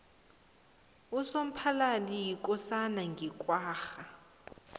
usomphalali yikosana yange kwagga